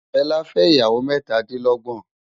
Fela fè iyáwô mètá di lògbòn